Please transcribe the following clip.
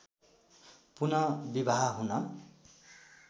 पुन विवाह हुन